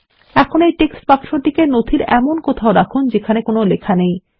এখন এই টেক্সটবাক্স টিকে ডকুমেন্ট এর এমন কথাও রাখুন যেখানে কোন লেখা নেই